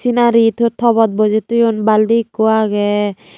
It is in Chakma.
scenary tobot bojey thoyun balti ekko aage.